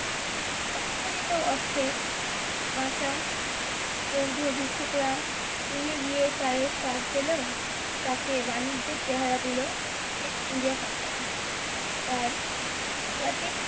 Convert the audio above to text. অক্ষরিত অর্থের বাঁচা বৌদ্ধভিক্ষুকরা চিনে গিয়ে চায়ের স্বাদ পেলেও চা কে বাণিজ্যের চেহারা দিলো east india company তার